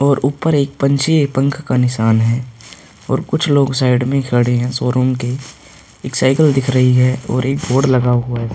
और ऊपर एक पंछी पंख का निशान है और कुछ लोग साइड में खड़े हैं शोरूम के। एक साइकिल दिख रही है और एक बोर्ड लगा हुआ है।